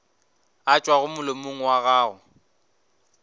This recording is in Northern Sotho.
a tšwago molomong wa gago